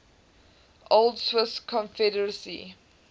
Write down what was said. old swiss confederacy